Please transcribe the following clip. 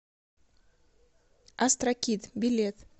астрокид билет